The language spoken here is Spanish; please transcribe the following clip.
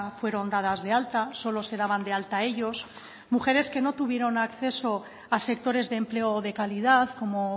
fueron dadas de alta solo se daban de alta ellos mujeres que no tuvieron acceso a sectores de empleo de calidad como